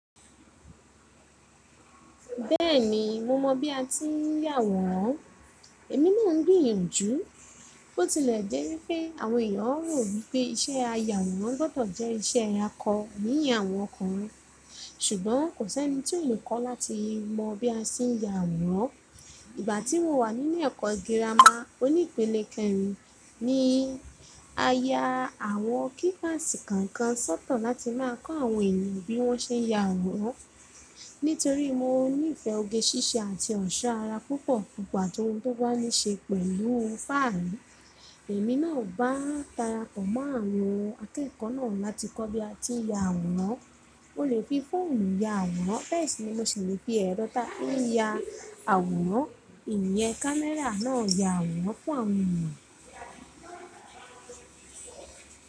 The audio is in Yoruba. Bẹ́ẹ̀ni, mo mọ bí a ti ń ya àwòrán. Èmi náà ń gbìyànjú. Bi tilẹ̀ jẹ́ wípé àwọn èèyàn rò wípé iṣẹ́ ayawòrán gbọ́dọ̀ jẹ́ iṣẹ́ ako niyen àwọn ọkùnrin, ṣùgbọ́n kò sí ẹni tí on kọ́ láti mọ bí a ṣe ń ya àwòrán. Ìgbà tí mo wà níle ẹ̀kọ́ girama onípele kẹrin ni a ya àwọ kíláàsì kọ̀ọ̀kan sọ́tọ̀ láti máa kọ́ àwọn ènìyàn bí wọ́n ṣe ń ya àwòrán. Nítorí mo níìfẹ́ oge ṣíṣe àti ọ̀ṣọ́ ara púpọ̀ púpọ̀ ati ohun tó bá ní ṣe pẹ̀lú fáàri, èmi náà bá darapọ̀ mọ́ àwọn akẹ́kọ̀ọ́ náà láti kọ́ bí a ti ń ya àwòrán. O lè fi fóònù ya àwòrán, beé ṣìní mo sì le fi ẹrọ táà fin ya àwòrán, ìnyẹn, kámẹ́rà náà ya àwòrán fún àwọn èèyàn.